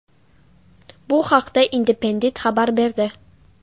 Bu haqda Independent xabar berdi .